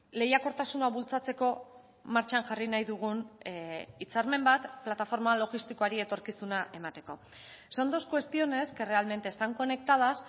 lehiakortasuna bultzatzeko martxan jarri nahi dugun hitzarmen bat plataforma logistikoari etorkizuna emateko son dos cuestiones que realmente están conectadas